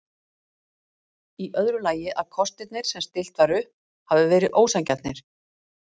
Í öðru lagi að kostirnir sem stillt var upp hafi verið ósanngjarnir.